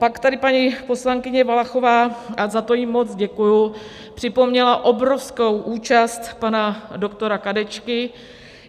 Pak tady paní poslankyně Valachová, a za to jí moc děkuju, připomněla obrovskou účast pana doktora Kadečky.